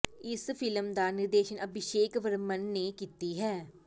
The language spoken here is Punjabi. ਇਸ ਫਿਲਮ ਦਾ ਨਿਰਦੇਸ਼ਨ ਅਭਿਸ਼ੇਕ ਵਰਮਨ ਨੇ ਕੀਤੀ ਹੈ